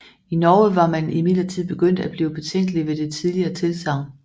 I Norge var man imidlertid begyndt at blive betænkelig ved det tidligere tilsagn